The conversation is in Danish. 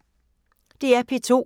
DR P2